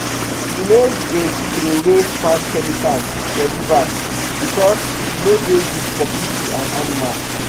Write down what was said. we no dey trowey farm chemicals for river because e no dey good for pipu and animal